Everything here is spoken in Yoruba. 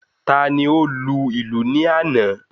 Tani ó lu ìlù ní àná?